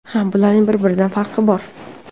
Ha, bularning bir-biridan farqi bor.